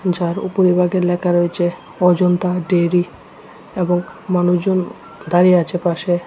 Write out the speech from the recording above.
যার উপরিভাগে লেখা রয়েছে অজন্তা ডেইরি এবং মানুষজন দাঁড়িয়ে আছে পাশে।